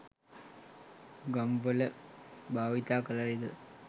ගම්වල භාවිත කළේ ද